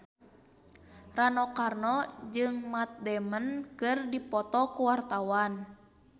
Rano Karno jeung Matt Damon keur dipoto ku wartawan